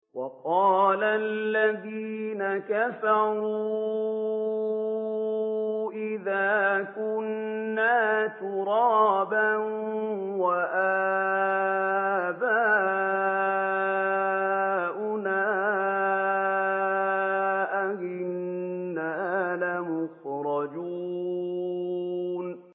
وَقَالَ الَّذِينَ كَفَرُوا أَإِذَا كُنَّا تُرَابًا وَآبَاؤُنَا أَئِنَّا لَمُخْرَجُونَ